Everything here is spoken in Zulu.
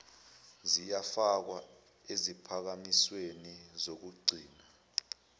ziyafakwa eziphakamisweni zokugcina